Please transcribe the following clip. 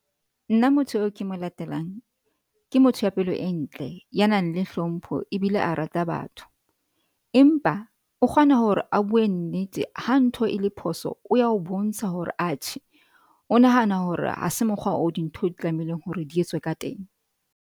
Nna motho eo ke mo latelang. Ke motho ya pelo e ntle, ya nang le hlompho ebile a rata batho empa o kgona hore a bue nnete. Ha ntho e le phoso, o ya o bontsha hore atjhe o nahana hore ha se mokgwa o dintho di tlamehileng hore di entswe ka teng.